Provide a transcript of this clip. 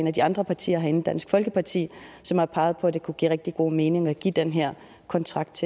af de andre partier herinde dansk folkeparti som har peget på at det kunne give rigtig god mening at give den her kontrakt